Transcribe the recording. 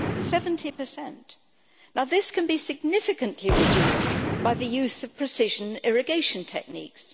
70. Now this can be significantly reduced by the use of precision irrigation techniques.